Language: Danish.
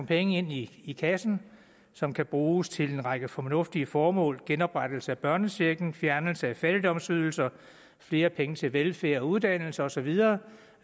penge ind i i kassen som kan bruges til en række fornuftige formål genoprettelse af børnechecken fjernelse af fattigdomsydelserne flere penge til velfærd og uddannelse og så videre